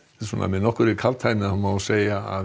með nokkurri kaldhæðni má segja að